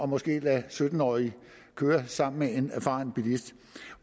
måske at lade sytten årige køre sammen med en erfaren bilist